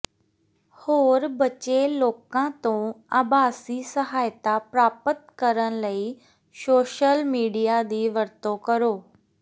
ਹੋਰ ਬਚੇ ਲੋਕਾਂ ਤੋਂ ਆਭਾਸੀ ਸਹਾਇਤਾ ਪ੍ਰਾਪਤ ਕਰਨ ਲਈ ਸੋਸ਼ਲ ਮੀਡੀਆ ਦੀ ਵਰਤੋਂ ਕਰੋ